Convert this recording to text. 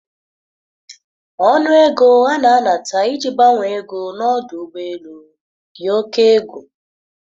Ọnụ ego a na-anata iji gbanwe ego na ọdụ ụgbọ elu dị oke egwu